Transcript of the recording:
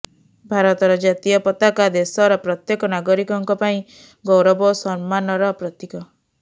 ଭାରତର ଜାତୀୟ ପତାକା ଦେଶର ପ୍ରତ୍ୟେକ ନାଗରିକଙ୍କ ପାଇଁ ଗୌରବ ଓ ସମ୍ମାନର ପ୍ରତୀକ